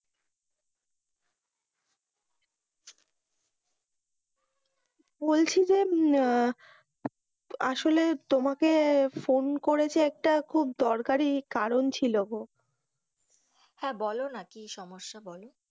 বলছি যে হুম আসলে তোমাকে ফোন করেছি একটা খুব দরকারি কারণ ছিল গো, হ্যাঁ, বলো না কি সমস্যা? বলো.